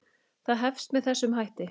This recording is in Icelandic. Það hefst með þessum hætti